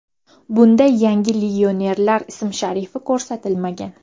Bunda yangi legionerning ism-sharifi ko‘rsatilmagan.